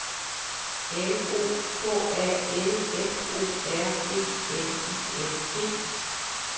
L O K A L F O R E N I N G